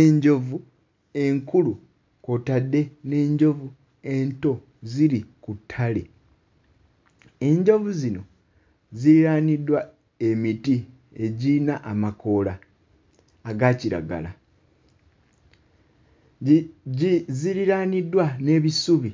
Enjovu enkulu kw'otadde n'enjovu ento ziri ku ttale. Enjovu zino ziriraaniddwa emiti egirina amakoola aga kiragala. Gi gi ziriraaniddwa n'ebisubi.